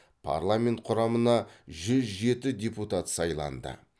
парламент құрамына жүз жеті депутат сайланды